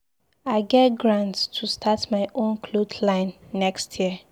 I get grant to start my own cloth line next year.